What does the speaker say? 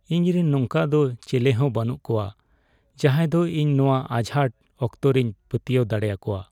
ᱤᱧᱨᱮᱱ ᱱᱚᱝᱠᱟ ᱫᱚ ᱪᱮᱞᱮᱦᱚᱸ ᱵᱟᱹᱱᱩᱜ ᱠᱚᱣᱟ ᱡᱟᱦᱟᱸᱭ ᱫᱚ ᱤᱧ ᱱᱚᱶᱟ ᱟᱡᱷᱟᱴ ᱚᱠᱛᱚᱨᱤᱧ ᱯᱟᱹᱛᱭᱟᱹᱣ ᱫᱟᱲᱮ ᱟᱠᱚᱣᱟ ᱾